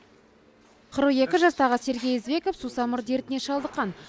қырық екі жастағы сергей извеков сусамыр дертіне шалдыққан